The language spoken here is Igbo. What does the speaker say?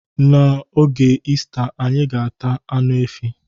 N'oge Ista, anyi ga-ata anụ efi